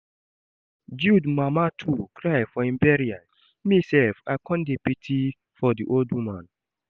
Jude mama too cry for im bural, me sef I come dey pity for the old woman